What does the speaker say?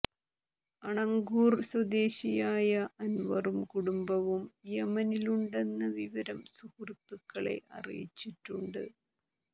അണങ്കൂർ സ്വദേശിയായ അൻവറും കുടുംബവും യമനിലുണ്ടെന്ന വിവരം സുഹൃത്തുക്കളെ അറിയിച്ചിട്ടുണ്ട്